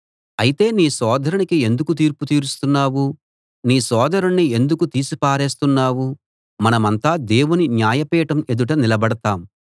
అయితే నీ సోదరునికి ఎందుకు తీర్పు తీరుస్తున్నావ్ నీ సోదరుణ్ణి ఎందుకు తీసిపారేస్తున్నావ్ మనమంతా దేవుని న్యాయపీఠం ఎదుట నిలబడతాం